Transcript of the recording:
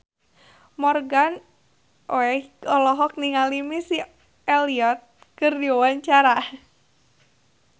Morgan Oey olohok ningali Missy Elliott keur diwawancara